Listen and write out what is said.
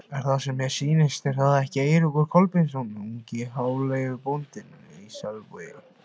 Er það sem mér sýnist, er það ekki Eiríkur Kolbeinsson, ungi hjáleigubóndinn í Selvogi?